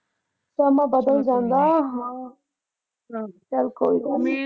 ਸਮਾਂ ਬਦਲ ਜਾਂਦਾ ਹਾਂ ਚੱਲ ਕੋਈ ਗੱਲ ਨਈਂ।